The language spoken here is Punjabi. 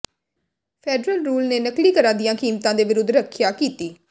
ਫੈਡਰਲ ਰੂਲ ਨੇ ਨਕਲੀ ਘਰਾਂ ਦੀਆਂ ਕੀਮਤਾਂ ਦੇ ਵਿਰੁੱਧ ਰੱਖਿਆ ਕੀਤੀ